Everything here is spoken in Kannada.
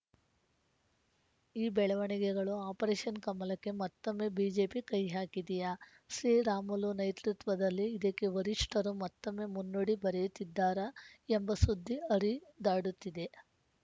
ಈ ಬೆಳವಣಿಗೆಗಳು ಆಪರೇಷನ್‌ ಕಮಲಕ್ಕೆ ಮತ್ತೊಮ್ಮೆ ಬಿಜೆಪಿ ಕೈಹಾಕಿದೆಯಾ ಶ್ರೀರಾಮುಲು ನೇತೃತ್ವದಲ್ಲಿ ಇದಕ್ಕೆ ವರಿಷ್ಠರು ಮತ್ತೊಮ್ಮೆ ಮುನ್ನುಡಿ ಬರೆಯುತ್ತಿದ್ದಾರಾ ಎಂಬ ಸುದ್ದಿ ಹರಿದಾಡುತ್ತಿದೆ